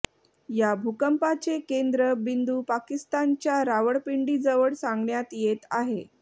या भूकंपाचे केंद्र बिंदू पाकिस्तानच्या रावळपिंडीजवळ सांगण्यात येत आहे